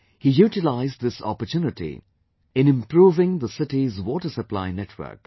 He utilized this opportunity in improving the city's water supply network